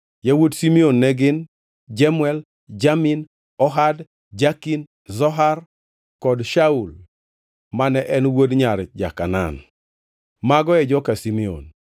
Yawuot Simeon ne gin: Jemuel, Jamin, Ohad, Jakin, Zohar kod Shaul mane en wuod nyar ja-Kanaan. Mago e joka Simeon.